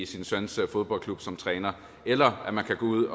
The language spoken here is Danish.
sin søns fodboldklub som træner eller at man kan gå ud